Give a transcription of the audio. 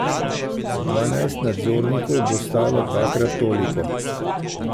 Dvanajst nadzornikov bo stalo dvakrat toliko.